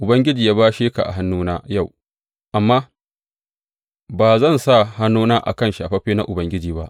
Ubangiji ya bashe ka a hannuna yau, amma ba zan sa hannuna a kan shafaffe na Ubangiji ba.